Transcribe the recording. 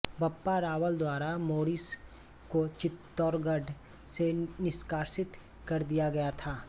बप्पा रावल द्वारा मोरिस को चित्तौड़गढ़ से निष्कासित कर दिया गया था